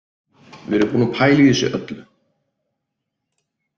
Við erum búin að pæla í þessu öllu